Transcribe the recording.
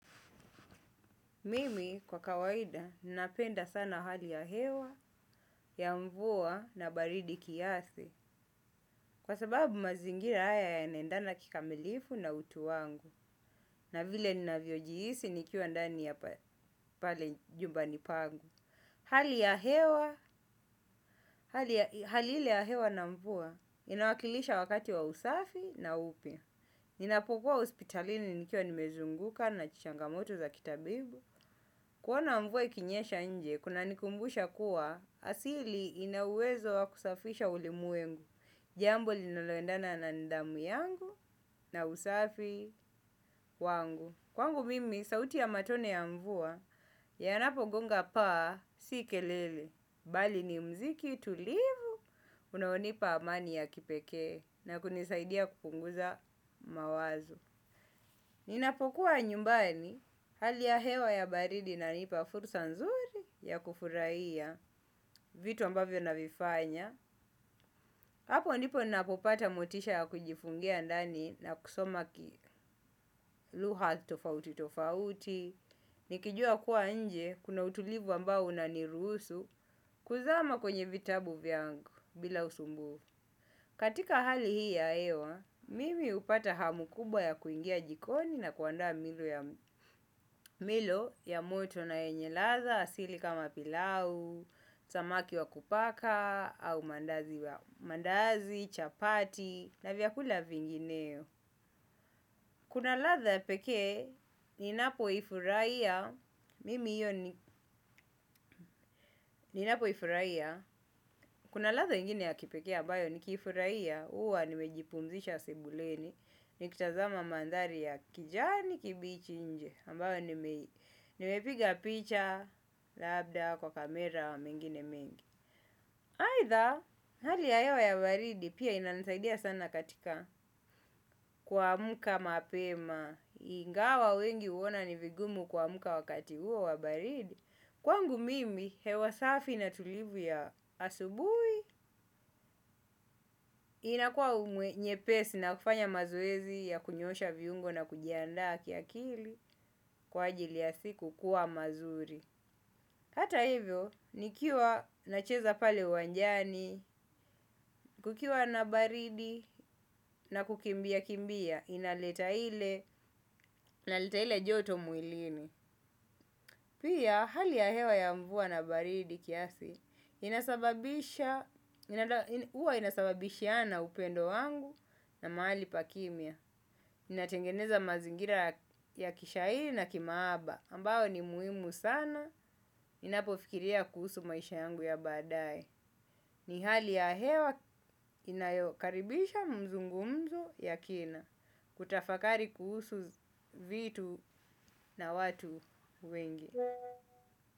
Mimi kwa kawaida ninapenda sana hali ya hewa, ya mvua na baridi kiasi kwa sababu mazingira haya yanaendana kikamilifu na utu wangu na vile ninavyojihisi nikiwa ndani ya pale jumbani pangu hali ya hewa. Hali ile ya hewa na mvua inawakilisha wakati wa usafi na upya. Ninapokuwa hospitalini nikiwa nimezunguka na changamoto za kitabibu. Kuona mvua ikinyesha nje, kunanikumbusha kuwa, asili inauwezo wa kusafisha ulimwengu. Jambo linaloendana na nidhamu yangu na usafi wangu kwangu mimi sauti ya matone ya mvua yanapogonga paa si kelele. Bali ni muziki tulivu. Unaonipa amani ya kipekee na kunisaidia kupunguza mawazo. Ninapokuwa nyumbani hali ya hewa ya baridi inanipa fursa nzuri ya kufurahiya vitu ambavyo navifanya hapo ndipo ninapopata motisha ya kujifungia ndani na kusoma lugha tofauti tofauti nikijua kuwa nje kuna utulivu ambao unaniruhusu kuzama kwenye vitabu vyangu bila usumbufu. Katika hali hii ya hewa, mimi hupata hamu kubwa ya kuingia jikoni na kuandaa mlo ya moto na yenye ladha asili kama pilau, samaki wa kupaka, au mandazi, chapati, na vyakula vingineo. Kuna ladha ya pekee ninapo ifurahia mimi hiyo ni napo ifurahia, kuna latha ingine ya kipekea bayo ni kifurahia, uwa ni mejipunzisha sebuleni, ni kitazama mandari ya kijani kibichi nje, ambayo ni mepiga picha labda kwa kamera wa mengine mengi. Aidha, hali ya hewa ya baridi pia inanisaidia sana katika kuamka mapema ingawa wengi huona ni vigumu kuamka wakati huo wa baridi. Kwangu mimi hewa safi na tulivu ya asubuhi inakua nyepesi na kufanya mazoezi ya kunyosha viungo na kujiandaa kiakili kwa ajili ya siku kuwa mazuri. Hata hivyo, nikiwa nacheza pale uwanjani, kukiwa na baridi na kukimbia kimbia, inaleta ile, inaleta ile joto mwilini. Pia, hali ya hewa ya mvua na baridi kiasi inasaba isha huwa inasababishiana upendo wangu na mahali pa kimya. Inatengeneza mazingira ya kishairi na ya kihaba ambayo ni kubimi ni hali ya hewa inayokaribisha mzungumzu ya kina kutafakari kuhusu vitu na watu wengi.